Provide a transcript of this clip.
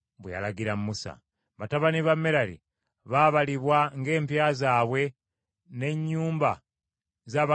Batabani ba Merali baabalibwa ng’empya zaabwe n’ennyumba z’abakadde baabwe bwe zaali.